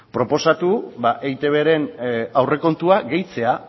proposatu eitbren aurrekontua gehitzea